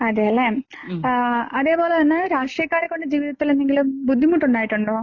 അതേല്ലേ. ആഹ് അതേപോലെ തന്നെ രാഷ്ട്രീയക്കാരെകൊണ്ട് ജീവിതത്തിലെന്തെങ്കിലും ബുദ്ധിമുട്ടുണ്ടായിട്ടുണ്ടോ?